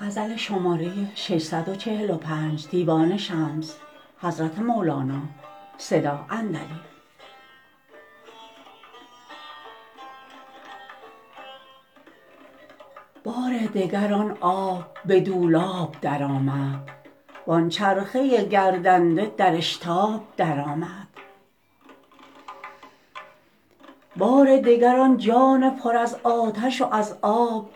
بار دگر آن آب به دولاب درآمد وآن چرخه گردنده در اشتاب درآمد بار دگر آن جان پر از آتش و از آب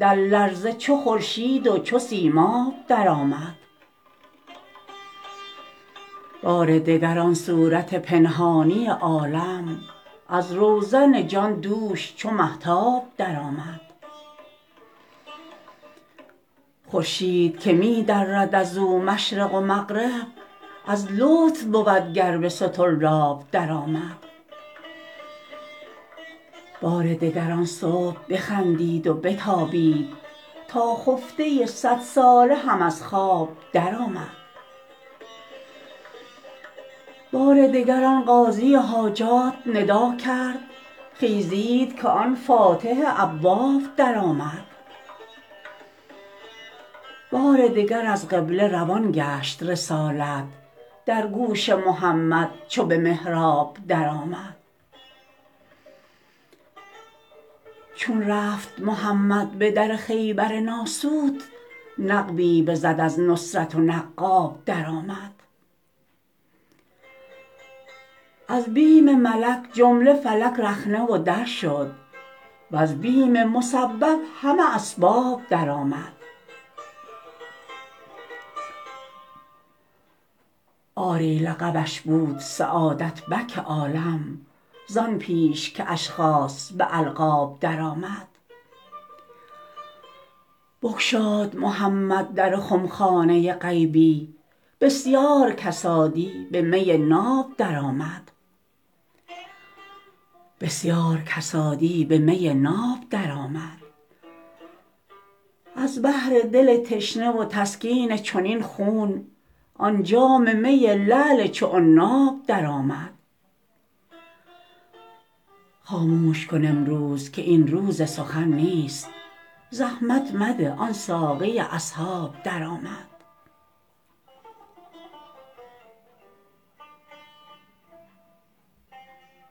در لرزه چو خورشید و چو سیماب درآمد بار دگر آن صورت پنهانی عالم از روزن جان دوش چو مهتاب درآمد خورشید که می درد از او مشرق و مغرب از لطف بود گر به سطرلاب درآمد بار دگر آن صبح بخندید و بتابید تا خفته صد ساله هم از خواب درآمد بار دگر آن قاضی حاجات ندا کرد خیزید که آن فاتح ابواب درآمد بار دگر از قبله روان گشت رسالت در گوش محمد چو به محراب درآمد چون رفت محمد به در خیبر ناسوت نقبی بزد از نصرت و نقاب درآمد از بیم ملک جمله فلک رخنه و در شد وز بیم مسبب همه اسباب درآمد آری لقبش بود سعادت بک عالم زآن پیش که اشخاص به القاب درآمد بگشاد محمد در خم خانه غیبی بسیار کسادی به می ناب درآمد از بهر دل تشنه و تسکین چنین خون آن جام می لعل چو عناب درآمد خاموش کن امروز که این روز سخن نیست زحمت مده آن ساقی اصحاب درآمد